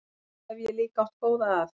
Svo hef ég líka átt góða að.